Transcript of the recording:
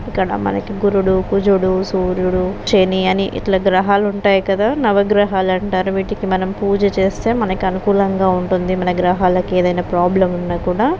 ఇక్కడ మనకు గురుడు కుజుడు సూర్యుడు శని అని ఇట్లా గ్రహాలు ఉంటాయి. కదా నవగ్రహాలంటారు వీటికి మనం పూజ చేస్తే మనకు అనుకూలంగా ఉంటుంది. మన గ్రహాలకి ఏదయినా ప్రాబ్లెమ్ ఉన్నా కూడా --